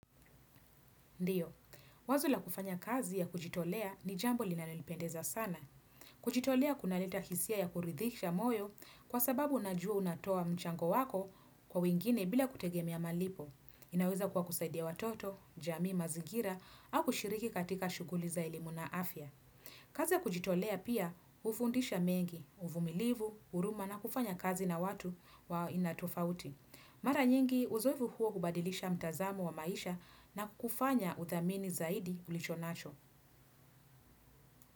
Ndiyo, wazo la kufanya kazi ya kujitolea ni jambo linalonipendeza sana. Kujitolea kunaleta hisia ya kuridhisha moyo kwa sababu unajua unatoa mchango wako kwa wengine bila kutegemea malipo. Inaweza kuwa kusaidia watoto, jamii mazingira au kushiriki katika shughuli za elimu na afya. Kazi ya kujitolea pia hufundisha mengi, uvumilivu, huruma na kufanya kazi na watu wa aina tofauti. Mara nyingi uzoefu huo kubadilisha mtazamo wa maisha na kufanya uthamini zaidi ulichonacho.